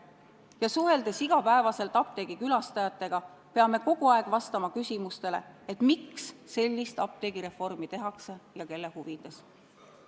Ja suheldes igapäevaselt apteegi külastajatega, peame kogu aeg vastama küsimustele, miks sellist apteegireformi tehakse ja kelle huvides.